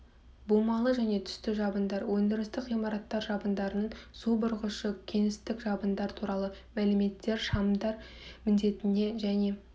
бумалы және түсті жабындар өндірістік ғимараттар жабындарының су бұрғышы кеңістік жабындар туралы мәліметтер шамдар міндетіне және